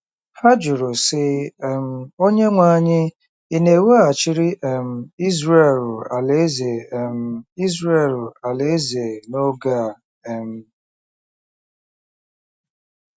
Ha jụrụ, sị um: “ Onyenwe anyị, ị̀ na-eweghachiri um Izrel alaeze um Izrel alaeze n’oge a um ?”